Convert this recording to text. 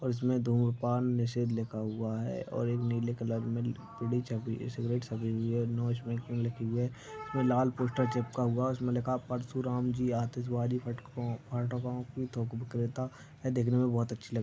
इसमें धूम्रपान निषेध लिखा हुआ है और एक नीले कलर में बीड़ी सिगरेट छुपी हुई है नो स्मोकिंग लिखा है लाल पोस्टर चिपका हुआ है उसे पर लिखा हुआ है परशुराम की आतिशबाजी पटाखे के थोक विक्रेता देखने में बहुत अच्छी लगती है